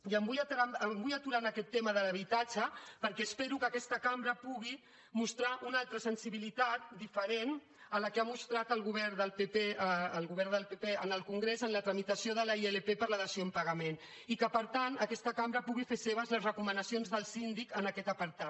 i em vull aturar en aquest tema de l’habitatge perquè espero que aquesta cambra pugui mostrar una altra sensibilitat diferent de la que ha mostrat el govern del pp en el congrés en la tramitació de la ilp per la dació en pagament i que per tant aquesta cambra pugui fer seves les recomanacions del síndic en aquest apartat